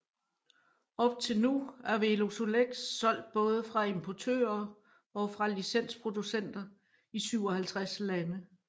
Op til nu er Velosolex solgt både fra importører og fra licensproducenter i 57 lande